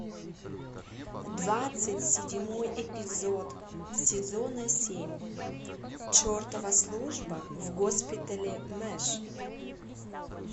двадцать седьмой эпизод сезона семь чертова служба в госпитале мэш